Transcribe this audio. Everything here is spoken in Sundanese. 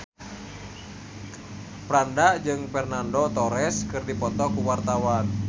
Franda jeung Fernando Torres keur dipoto ku wartawan